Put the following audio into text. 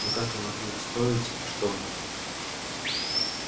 но как вы могли устроить чтобы